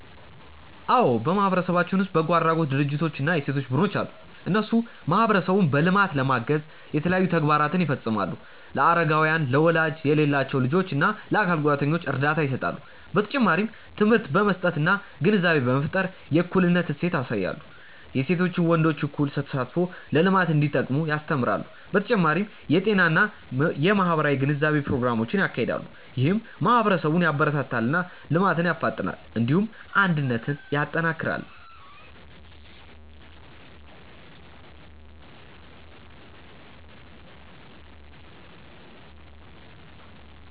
አዎ በማህበረሰብ ውስጥ በጎ አድራጎት ድርጅቶች እና የሴቶች ቡድኖች አሉ። እነሱ ማህበረሰቡን በልማት ለማገዝ የተለያዩ ተግባራትን ይፈጽማሉ። ለአረጋውያን፣ ለወላጅ የሌላቸው ልጆች እና ለአካል ጉዳተኞች እርዳታ ይሰጣሉ። በተጨማሪም ትምህርት በመስጠት እና ግንዛቤ በመፍጠር የእኩልነት እሴት ያሳያሉ። የሴቶችና ወንዶች እኩል ተሳትፎ ለልማት እንዲጠቅም ያስተምራሉ። በተጨማሪም የጤና እና የማህበራዊ ግንዛቤ ፕሮግራሞችን ያካሂዳሉ። ይህም ማህበረሰብን ያበረታታል እና ልማትን ያፋጥናል። እንዲሁም አንድነትን ያጠናክራል።